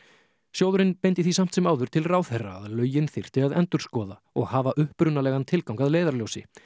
sjóðurinn beindi því samt sem áður til ráðherra að lögin þyrfti að endurskoða og hafa upprunalegan tilgang að leiðarljósi